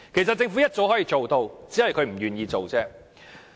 政府早就可以做到，只是不願做而已。